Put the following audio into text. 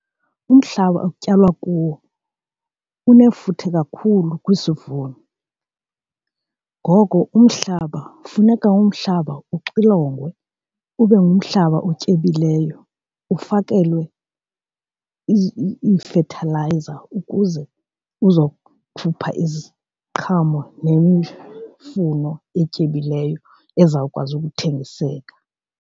Umhlaba okutyalwa kuwo unefuthe kakhulu kwisivuno. Ngoko umhlaba funeka umhlaba uxilongwe ube ngumhlaba otyebileyo ufakelwe iifethalayiza ukuze uzokhupha iziqhamo nemifuno etyebileyo ezawukwazi ukuthengiseka.